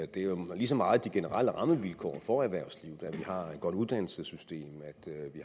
det er jo lige så meget de generelle rammevilkår for erhvervslivet at vi har et godt uddannelsessystem